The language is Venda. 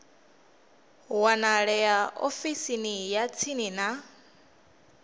wanalea ofisini ya tsini ya